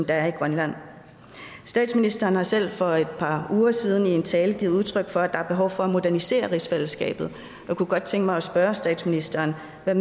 er i grønland statsministeren har selv for et par uger siden i en tale givet udtryk for at der er behov for at modernisere rigsfællesskabet jeg kunne godt tænke mig at spørge statsministeren hvad